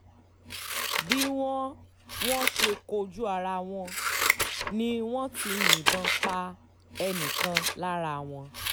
bí wọ́n wọ́n ṣe kojú ara wọn ni wọ́n ti yìnbọn pa ẹnì kan lára wọn